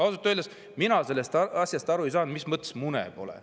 " Ausalt öeldes mina sellest asjast aru ei saanud, mis mõttes mune pole.